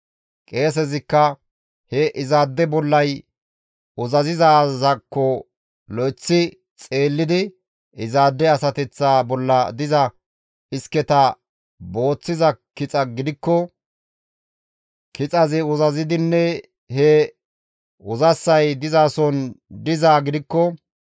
Qeesezikka he izaade bollay uzazizaakko lo7eththi xeellidi izaade asateththa bolla diza isketa booththiza kixa gidikko kixazi uzazidinne he uzassay dizason dizaa gidikko,